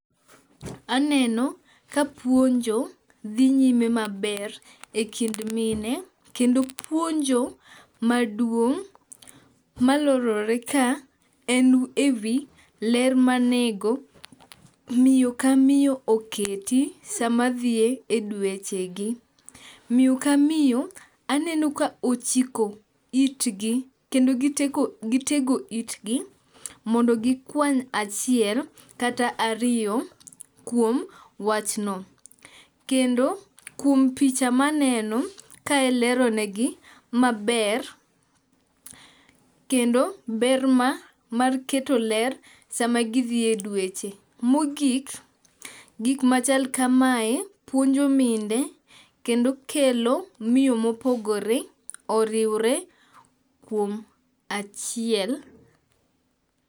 Aneno ka puonjo dhi nyime maber e kind mine kendo puonjo maduong' malorore ka en e wi ler manego miyo ka miyo oketi sama dhi e dwechegi. Miyo ka miyo aneno ka ochiko itgi kendo kitego itgi mondo gikwany achiel kata ariyo kuom wachno. Kendo kuom picha maneno kae leronegi maber kendo ber mar keto ler sama gidhi e dweche. Mogik gikmachal kamae puonjo mine kendo kelo miyo mopogore oriwre kuom achiel.